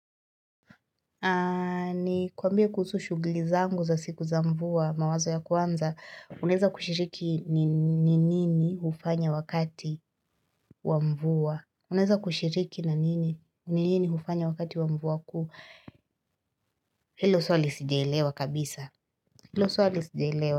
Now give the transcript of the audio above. Nikuambie kuhusu shughili zangu za siku za mvua mawazo ya kwanza uneza kushiriki ni nini hufanya wakati wa mvua. Uneza kushiriki na nini ni nini hufanya wakati wa mvua kuu. Hilo swali sijaelewa kabisa. Hilo soa lisidelewa.